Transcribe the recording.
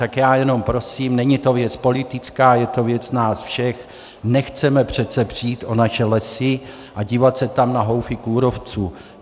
Tak já jenom prosím, není to věc politická, je to věc nás všech, nechceme přece přijít o naše lesy a dívat se tam na houfy kůrovců.